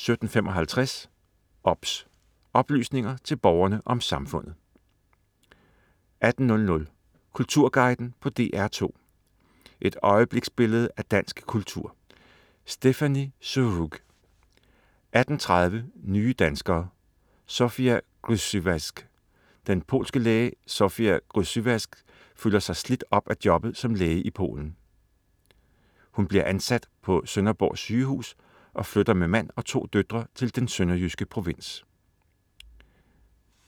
17.55 OBS. Oplysninger til Borgerne om Samfundet 18.00 Kulturguiden på DR2. Et øjebliksbillede af dansk kultur. Stéphanie Surrugue 18.30 Nye danskere: Zofia Grzywacz. Den polske læge Zofia Grzywacz føler sig slidt op af jobbet som læge i Polen. Hun bliver ansat på Sønderborg Sygehus og flytter med mand og to døtre til den sønderjyske provins